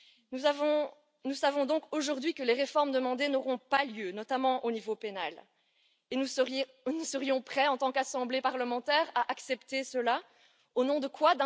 Nous savons donc aujourd'hui que les réformes demandées n'auront pas lieu, notamment au niveau pénal, et nous serions pourtant prêts, en tant qu'assemblée parlementaire, à accepter cela, au nom de quoi?